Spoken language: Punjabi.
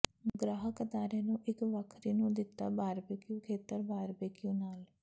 ਗ੍ਰਾਹਕ ਅਦਾਰੇ ਨੂੰ ਇੱਕ ਵੱਖਰੀ ਨੂੰ ਦਿੱਤੇ ਬਾਰਬਿਕਯੂ ਖੇਤਰ ਬਾਰਬਿਕਯੂ ਨਾਲ